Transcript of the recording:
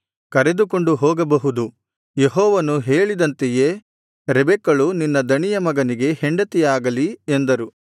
ಕರೆದುಕೊಂಡು ಹೋಗಬಹುದು ಯೆಹೋವನು ಹೇಳಿದಂತೆಯೇ ರೆಬೆಕ್ಕಳು ನಿನ್ನ ದಣಿಯ ಮಗನಿಗೆ ಹೆಂಡತಿಯಾಗಲಿ ಎಂದರು